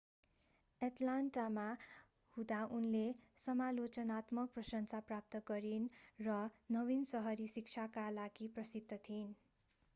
एटलान्टामा हुँदा उनले समालोचनात्मक प्रशंसा प्राप्त गरिन र नवीन सहरी शिक्षाका लागि प्रसिद्ध थिइन्